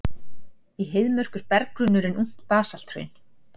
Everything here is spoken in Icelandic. Í Heiðmörk er berggrunnurinn ungt basalthraun.